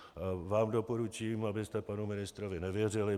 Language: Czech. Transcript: Vám doporučím, abyste panu ministrovi nevěřili.